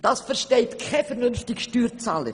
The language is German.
Das versteht kein vernünftiger Steuerzahler.»